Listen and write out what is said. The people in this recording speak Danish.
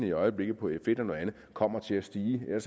i øjeblikket kommer til at stige man